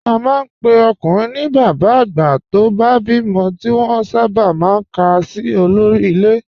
A máa ń pe ọkùnrin ní bàbá nígbà tó bá bímọ, tí wọ́n sábà máa ń kà sí olórí ilé